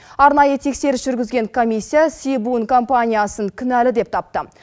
арнайы тексеріс жүргізген комиссия себуын компаниясын кінәлі деп тапты